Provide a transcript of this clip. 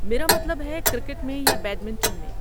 میرا مطلب ہے، کرکٹ میں، یا بیڈمنٹن میں۔